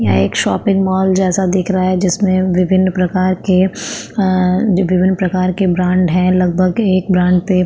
यह एक shopping mall जैसा दिख रहा है जिसमे विभिन्न प्रकार के आ-विभिन्न प्रकार के ब्रांड है लगभग एक ब्रांड पे --